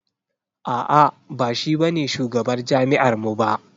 A'a ba shi ba ne shugabar jami'ar mu ba.